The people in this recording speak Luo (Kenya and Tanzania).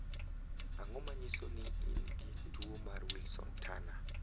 Ang'o ma nyiso ni in gi tuo mar Wilson Turner?